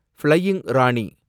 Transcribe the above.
flying Rani